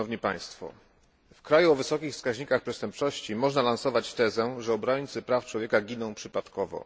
W kraju o wysokich wskaźnikach przestępczości można lansować tezę, że obrońcy praw człowieka giną przypadkowo.